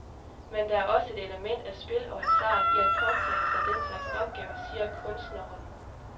Men der er også et element af spil og hasard i at påtage sig den slags opgaver, siger kunstneren.